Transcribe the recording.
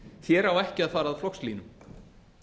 hér á ekki að fara að flokkslínum